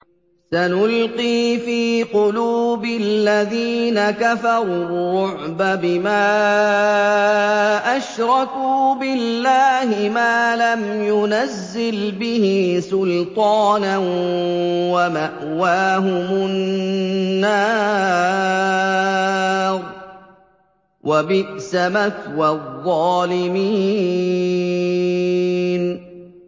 سَنُلْقِي فِي قُلُوبِ الَّذِينَ كَفَرُوا الرُّعْبَ بِمَا أَشْرَكُوا بِاللَّهِ مَا لَمْ يُنَزِّلْ بِهِ سُلْطَانًا ۖ وَمَأْوَاهُمُ النَّارُ ۚ وَبِئْسَ مَثْوَى الظَّالِمِينَ